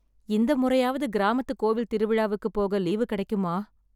இந்த முறையாவது கிராமத்து கோவில் திருவிழாவுக்கு போக லீவு கிடைக்குமா?